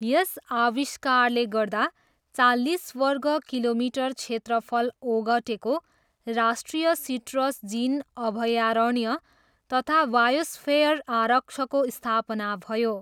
यस आविष्कारले गर्दा चालिस वर्ग किलोमिटर क्षेत्रफल ओगटेको राष्ट्रिय सिट्रस जिन अभयारण्य तथा बायोस्फेयर आरक्षको स्थापना भयो।